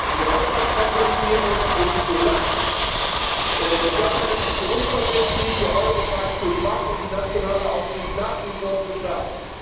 Die Haushaltskonsolidierung ist zu lasch, die Governance zu unverbindlich, der Euro Pakt zu schwach und die nationale Aufsicht nach wie vor zu stark.